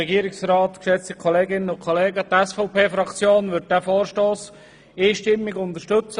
Die SVP-Fraktion wird diesen Vorstoss von Kollegin Geissbühler einstimmig unterstützen.